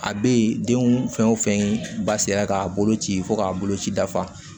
A bɛ yen denw fɛn o fɛn ba sera k'a bolo ci fo k'a bolo ci dafa